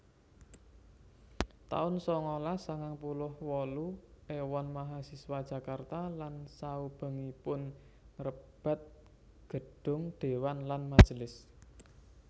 taun sangalas sangang puluh wolu Éwon mahasiswa Jakarta lan saubengipun ngrebat Gedhong dewan lan majelis